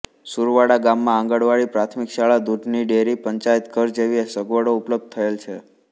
સુરવાડા ગામમાં આંગણવાડી પ્રાથમિક શાળા દુધની ડેરી પંચાયતઘર જેવી સગવડો ઉપલબ્ધ થયેલ છે